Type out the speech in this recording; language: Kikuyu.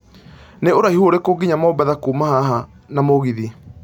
nĩ ũraihũ ũrĩkũ nginya mombatha kuuma haha na mũgithi